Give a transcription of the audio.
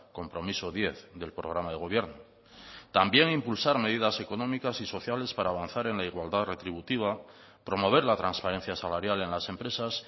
compromiso diez del programa de gobierno también impulsar medidas económicas y sociales para avanzar en la igualdad retributiva promover la transparencia salarial en las empresas